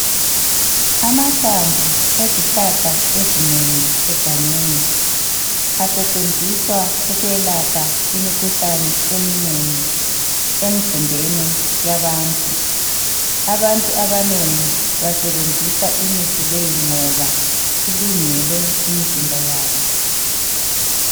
Amahlamvu ezihlahla ezinengi egangeni asetshenziswa ukwelapha imikhuhlane eminengi emzimbeni yabantu. Abantu abanengi basebenzisa imithi leyi ngoba ilungele imizimba yabo.